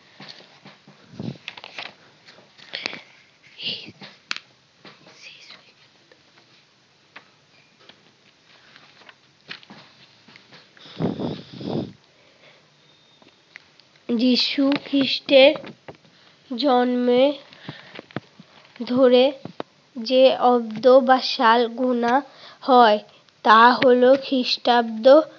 যিশুখ্রিষ্টের জন্মের ধরে যে অব্দ বা সাল গোনা হয় তা হলো খ্রিষ্টাব্দ